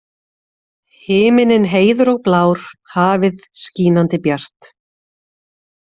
Himinninn heiður og blár, hafið skínandi bjart